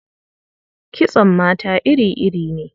Kitson mata iri-iri ne.